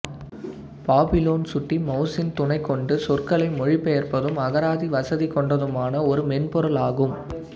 Babylon சுட்டி mouse இன் துணைகொண்டு சொற்களை மொழிபெயர்ப்பதும் அகராதி வசதி கொண்டதுமான ஒரு மென்பொருள் ஆகும்